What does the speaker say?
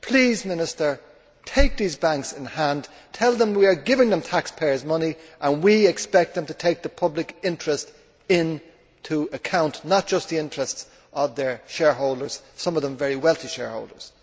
Please, Minister, take these banks in hand, tell them we are giving them taxpayers' money and we expect them to take the public interest into account, not just the interests of their shareholders some of them very wealthy shareholders.